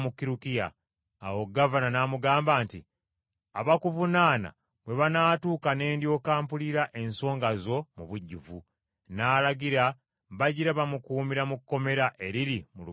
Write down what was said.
Awo gavana n’amugamba nti, “Abakuvunaana bwe banaatuuka ne ndyoka mpulira ensonga zo mu bujjuvu.” N’alagira bagira bamukuumira mu kkomera eriri mu lubiri lwa Kerode.